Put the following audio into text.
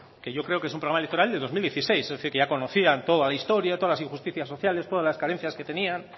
que yo creo que es un programa electoral de dos mil dieciséis es decir que ya conocían toda la historia todas las injusticias sociales todas las carencias que tenían